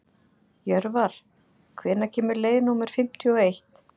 Jörvar, hvenær kemur leið númer fimmtíu og eitt?